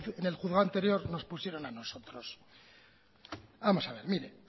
en el juzgado anterior nos pusieron a nosotros vamos a ver mire